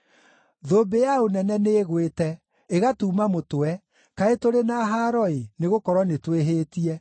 Thũmbĩ ya ũnene nĩĩgwĩte, ĩgatuuma mũtwe, kaĩ tũrĩ na haaro-ĩ, nĩgũkorwo nĩtwĩhĩtie!